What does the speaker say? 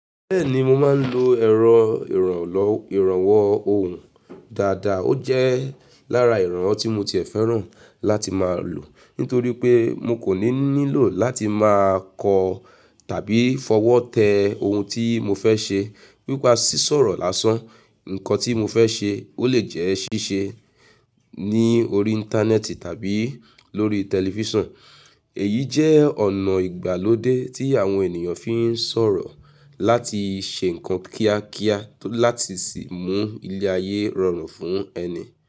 Bẹ́ẹ̀ni mo máa ń lo ẹ̀rọ ìrànwọ́ ohùn dáadáa, ó jẹ́ lára ìrànwọ́ tí mo ti e fẹ́ràn láti máa lò. Nítorí pé mo kò ní nílò láti máa kọ tàbí fọwọ́ tẹ ohun tí mo fẹ́ ṣe. Pípá sí sọ̀rọ̀ lásán, nnkan tí mo fẹ́ ṣe, ó lè jẹ́ ṣíṣe ni orí Íńtánẹ́ẹ̀tì tàbí lórí tẹlifíṣàn. Èyí jẹ́ ọ̀nà ìgbàlódé tí àwọn ènìyàn fi ń sọ̀rọ̀ láti ṣe ǹkan kíákíá láti sì mú ilé ayé rọrùn fún ẹni.